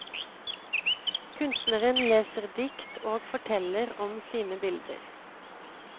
Kunstneren leser dikt og forteller om sine bilder.